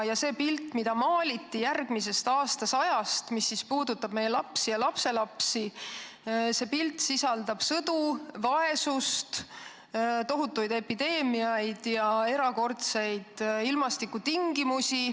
Ja see pilt, mis meile järgmisest aastasajast maaliti ja mis puudutab meie lapsi ja lapselapsi, sisaldab sõdu, vaesust, tohutuid epideemiaid ja erakordseid ilmastikutingimusi.